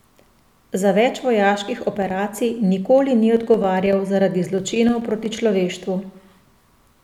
Za več vojaških operacij nikoli ni odgovarjal zaradi zločinov proti človeštvu.